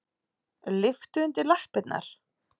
Lyftu undir lappirnar.